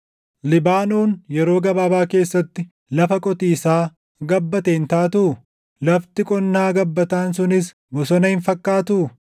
Libaanoon yeroo gabaabaa keessatti // lafa qotiisaa gabbatte hin taatuu? Lafti qonnaa gabbataan sunis bosona hin fakkaattuu?